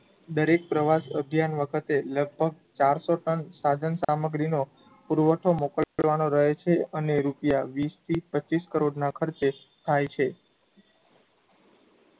દરેક પ્રવાસ અભિયાન વખતે લગભગ ચારસો ટન સાધન સામગ્રીનો પુરવઠો મોકલવાનો રહે છે અને રૂપિયા વિશથી પચ્ચીસ કરોડનાં ખર્ચે થાય છે